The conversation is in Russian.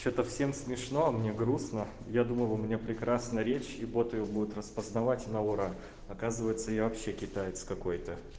что-то всем смешно а мне грустно я думал у меня прекрасная речь и бот её будет распознавать на ура оказывается я вообще китаец какой-то